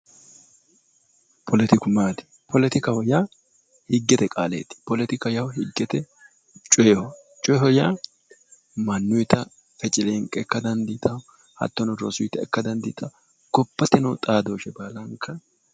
poletiku maati poletikaho yaa higgete qaaleeti poletikaho yaa higgete coyiho coyiho yaa mannuyita feceleenqe ikka dandiitaho hattono rosuyita ikka dandiitaho gobbate noo xaadooshsheeti.